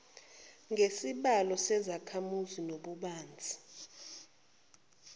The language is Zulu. ngesibalo sezakhamuzi nobubanzi